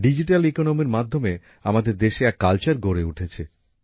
digital অর্থনীতির মাধ্যমে আমাদের দেশে এক সংস্কৃতি গড়ে উঠেছে